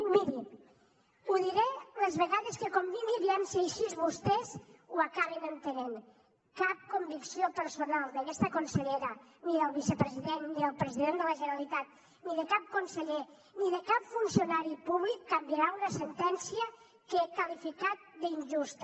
i mirin ho diré les vegades que convingui aviam si així vostès ho acaben entenent cap convicció personal d’aquesta consellera ni del vicepresident ni del president de la generalitat ni de cap conseller ni de cap funcionari públic canviarà una sentència que he qualificat d’injusta